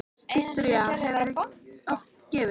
Viktoría: Hefurðu oft gefið?